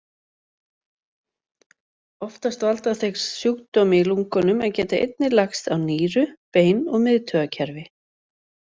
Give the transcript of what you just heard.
Oftast valda þeir sjúkdómi í lungunum en geta einnig lagst á nýru, bein og miðtaugakerfi.